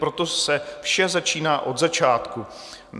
Proto se vše začíná od začátku.